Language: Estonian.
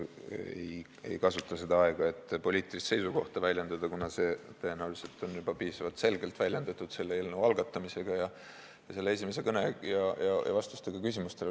Ma ei kasuta seda aega selleks, et poliitilist seisukohta väljendada, kuna seda on tõenäoliselt juba piisavalt selgelt väljendatud nii selle eelnõu algatamisega kui ka minu esimese kõnega ja küsimustele antud vastustega.